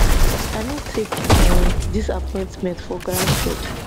i no take um dis appointment for granted